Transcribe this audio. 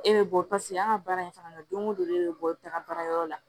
E bɛ bɔ paseke an ka baara in fana na don o don e bɛ bɔ taga baarayɔrɔ la